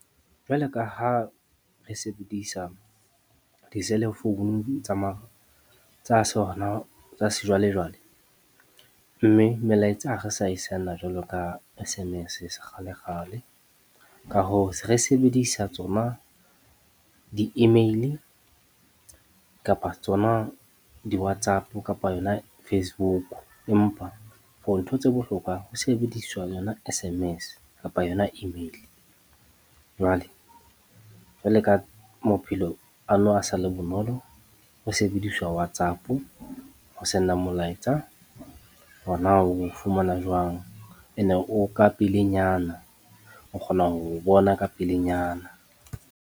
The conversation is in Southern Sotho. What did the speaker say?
Jwale ka ha re sebedisa diselefounu tsa sejwalejwale, mme melaetsa ha re sa e send-a jwalo ka S_M_S, sekgalekgale, ka hoo, se re sebedisa tsona di-email kapa tsona di-WhatsApp kapa yona Facebook, empa for ntho tse bohlokwa ho sebediswa yona S_M_S kapa yona e-mail. Jwale ka maphelo a nou a sa le bonolo ho sebediswa WhatsApp ho send-a molaetsa hore na oo fumana jwang, ene o ka pelenyana, o kgona ho o bona ka pelenyana.